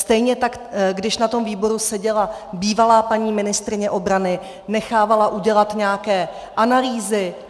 Stejně tak když na tom výboru seděla bývalá paní ministryně obrany, nechávala udělat nějaké analýzy.